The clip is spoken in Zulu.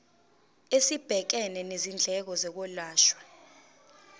esibhekene nezindleko zokwelashwa